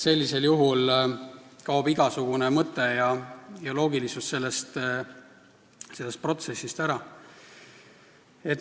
Sellisel juhul kaob igasugune mõte ja loogilisus sellest protsessist ära.